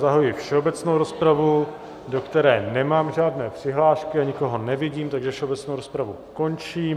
Zahajuji všeobecnou rozpravu, do které nemám žádné přihlášky, a nikoho nevidím, takže všeobecnou rozpravu končím.